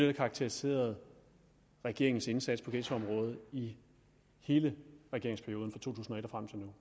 har karakteriseret regeringens indsats på ghettoområdet i hele regeringsperioden fra to